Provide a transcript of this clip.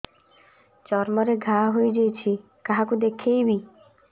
ଚର୍ମ ରେ ଘା ହୋଇଯାଇଛି କାହାକୁ ଦେଖେଇବି